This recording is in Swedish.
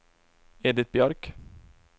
Edit Björk